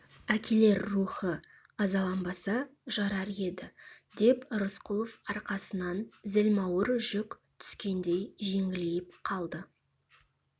әкелер рухы азаланбаса жарар еді деп рысқұлов арқасынан зілмауыр жүк түскендей жеңілейіп қалды